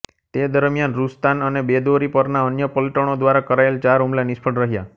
તે દરમિયાન રુસ્તાન અને બેદોરી પરના અન્ય પલટણો દ્વારા કરાયેલા ચાર હુમલા નિષ્ફળ રહ્યા